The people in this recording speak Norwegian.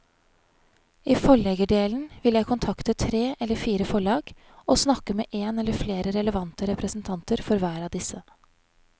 I forleggerdelen vil jeg kontakte tre eller fire forlag og snakke med en eller flere relevante representanter for hver av disse.